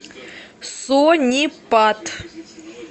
сонипат